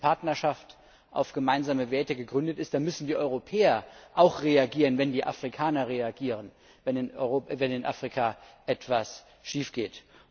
Wenn diese Partnerschaft auf gemeinsame Werte gegründet ist, dann müssen die Europäer auch reagieren, wenn die Afrikaner reagieren, wenn in Afrika etwas schiefgeht.